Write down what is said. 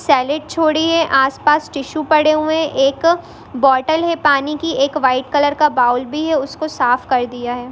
Silent छोड़ी है आसपास टिश्यू पड़े हुए हैं| एक बोतल है पानी की एक वाइट कलर का बाउल भी है और उसको साफ कर दिया हैं।